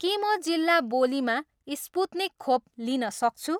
के म जिल्ला बोलीमा स्पुत्निक खोप लिन सक्छु